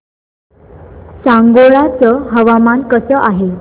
सांगोळा चं हवामान कसं आहे